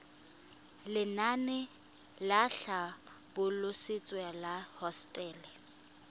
lenaane la tlhabololosewa ya hosetele